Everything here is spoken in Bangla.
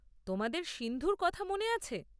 তোমাদের সিন্ধুর কথা মনে আছে।